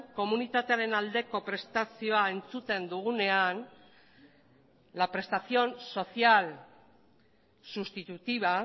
komunitatearen aldeko prestazioa entzuten dugunean la prestación social sustitutiva